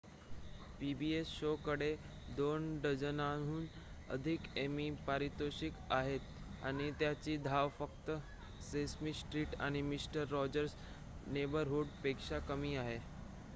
pbs show कडे 2 डझनाहून अधिक एमी पारितोषिके आहेत आणि त्याची धाव फक्त सेसमी स्ट्रीट आणि मिस्टर रॉजर्स नेबरहूड पेक्षाच कमी आहे